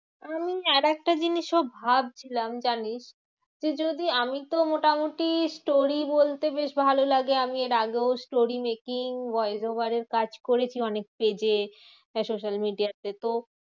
আমি আরেকটা জিনিসও ভাবছিলাম জানিস? যে যদি আমিতো মোটামুটি story বলতে বেশ ভালো লাগে। আমি এর আগেও story making voice over এর কাজ করেছি অনেক stage এ social media তে। তো